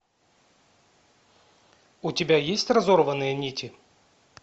у тебя есть разорванные нити